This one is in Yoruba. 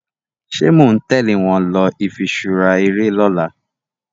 ṣe món tèlé wón ló ifiṣura eré lỌ̀la?